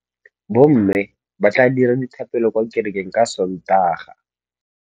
Bommê ba tla dira dithapêlô kwa kerekeng ka Sontaga.